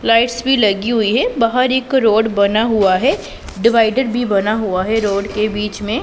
lights भी लगी हुई है बाहर एक रोड बना हुआ है डिवाइडर भी बना हुआ है रोड के बीच में--